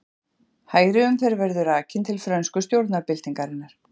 Hægri umferð verður rakin til frönsku stjórnarbyltingarinnar.